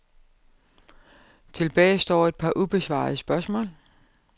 Tilbage står et par ubesvarede spørgsmål.